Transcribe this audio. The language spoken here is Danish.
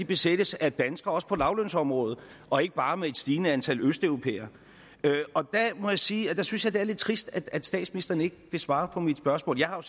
besættes af danskere også på lavtlønsområdet og ikke bare af et stigende antal østeuropæere og der må jeg sige at jeg synes det er lidt trist at statsministeren ikke vil svare på mit spørgsmål jeg har jo